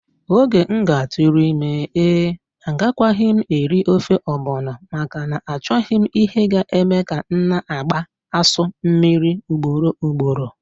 Oge m ga-atụrụ ime ee! Agakwaghị m eri ofe ogbono, maka na-achoghi m ihe ga eme ka m na-agbaa asụ mmiri ugboro ugboro.